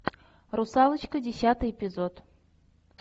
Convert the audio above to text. русалочка десятый эпизод